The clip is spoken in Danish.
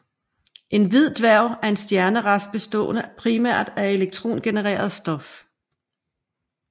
En hvid dværg er en stjernerest bestående primært af elektrondegenereret stof